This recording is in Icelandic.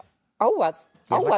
á að